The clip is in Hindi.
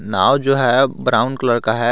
नाव जो है ब्राउन कलर का है।